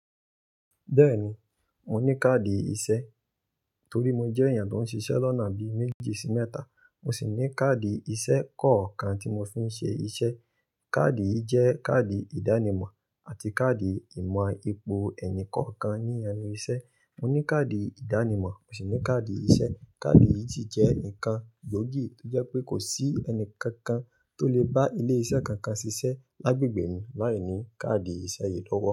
Bẹ́ẹ̀ni, mo ní káàdì iṣẹ́ torí mo jẹ́ èèyàn tó ń ṣiṣẹ́ lọ́nà bi méjì sí mẹ́ta. Mo sì ní káàdì iṣẹ́ kọ̀ọ̀kan tí mo fi ń ṣe iṣẹ́. Káàdì yìí jẹ́ káàdì ìdánimọ̀ àti káàdì ìmọ̀ ipò ẹnì kọ̀ọ̀kan ní ẹnu iṣẹ́. Mo ní káàdì ìdánimọ̀, mo sì ní káàdì iṣẹ́. Káàdì yìí sì jẹ́ nǹkan gbóògì tó jẹ́ pé kò sí ẹni kankan tó lè bá ilé iṣẹ́ kankan ṣiṣẹ́ lágbègbè mi láìní káàdì iṣẹ́ yìí lọ́wọ́